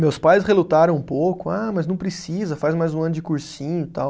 Meus pais relutaram um pouco, ah, mas não precisa, faz mais um ano de cursinho e tal.